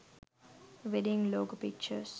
wedding logo pictures